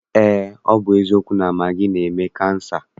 Eé, ọ bụ eziokwu na magị na-eme kansa.